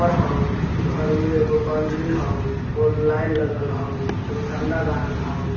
घर होअ घर मे एगो बाउंड्री होअ लाइन लगाल होअ एगो झण्डा गाड़ल होअ।